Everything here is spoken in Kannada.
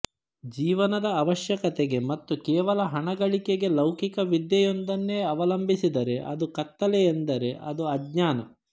ಜೀವನದ ಅವಶ್ಯಕತೆಗೆ ಮತ್ತು ಕೇವಲ ಹಣ ಗಳಿಕೆಗೆ ಲೌಕಿಕ ವಿದ್ಯೆ ಯೊಂದನ್ನೇ ಅವಲಂಬಿಸಿದರೆ ಆದು ಕತ್ತಲೆ ಎಂದರೆ ಅದು ಅಜ್ಞಾನ